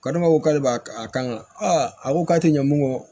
Ko ne ma ko k'ale b'a kan a ko k'a tɛ ɲɛ mun kɔ